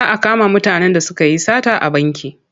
Za a kama mutanen da suka yi sata a banki.